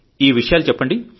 ఈవిషయాలు చెప్పండి